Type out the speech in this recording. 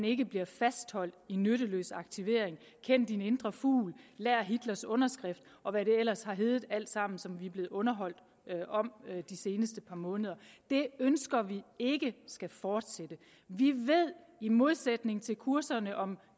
ikke bliver fastholdt i nytteløst aktivering kend din indre fugl lær hitlers underskrift og hvad det ellers har heddet alt sammen som vi er blevet underholdt med de seneste par måneder det ønsker vi ikke skal fortsætte vi ved i modsætning til kurserne om at